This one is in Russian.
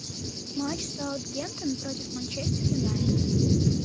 матч саутгемптон против манчестер юнайтед